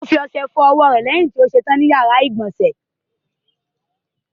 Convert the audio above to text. O fi ọṣẹ fọ ọwọ́ rẹ̀ lẹ́yìn tí ó ṣe tán ní ìyàrá-ìgbọ̀nsẹ̀.